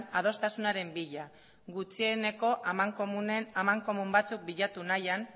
adostasunaren bila gutxieneko amankomun batzuk bilatu nahian